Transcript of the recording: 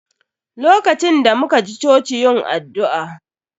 LOkacin da muka ji choci yin addu'a